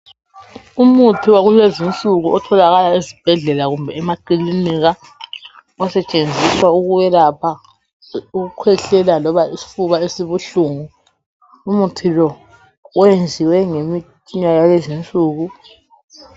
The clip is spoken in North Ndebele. Umuthi wakulezinsuku otholakala esibhedlela kumbe emakilinika osetshenziswa ukuyelapha ukukhwehlela, loba isifuba esibuhlungu. Umuthi lo wenziwe ngemithi yalezinsuku.